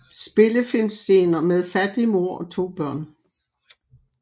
Spillefilmscener med fattig mor og to børn